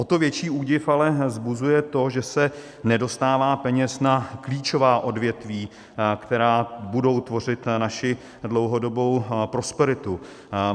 O to větší údiv ale vzbuzuje to, že se nedostává peněz na klíčová odvětví, která budou tvořit naši dlouhodobou prosperitu.